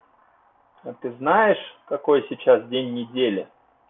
а ты знаешь какой сейчас день недели